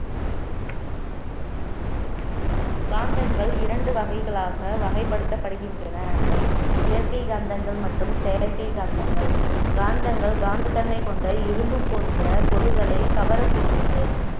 காந்தங்கள் இரண்டு வகைகளாக வகைப்படுத்தப்படுகின்றன அவை இயற்கை காந்தங்கள் மற்றும் செயற்கை காந்தங்கள் காந்தங்கள் காந்தத்தன்மை கொண்ட இரும்பு போன்ற பொருள்களை கவரக்கூடியவை